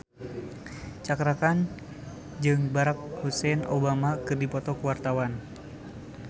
Cakra Khan jeung Barack Hussein Obama keur dipoto ku wartawan